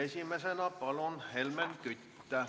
Esimesena Helmen Kütt, palun!